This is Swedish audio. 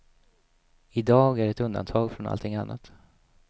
Idag är ett undantag från allting annat.